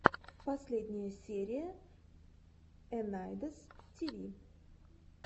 последняя серия энандэс тиви